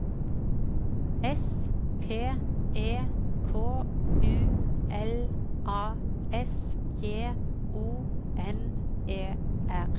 S P E K U L A S J O N E R